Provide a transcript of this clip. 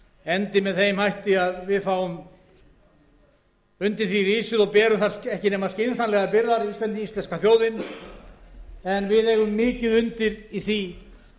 endi með þeim hætti að við fáum undir því risið og berum þar ekki nema skynsamlegar byrðar íslenska þjóðin en við eigum mikið undir í því